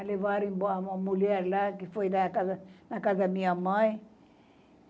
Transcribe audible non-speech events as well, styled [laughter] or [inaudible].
É, levaram embora uma mulher lá, que foi na casa, na casa [unintelligible] minha mãe.